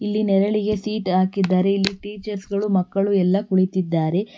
ಇಲ್ಲಿ ನೆರಳಿಗೆ ಸೀಟ್ ಹಾಕಿದ್ದಾರೆ ಇಲ್ಲಿ ಟೀಚರ್ಸ್ ಗಳು ಮಕ್ಕಳು ಎಲ್ಲ ಕುಳಿತಿದ್ದಾರೆ.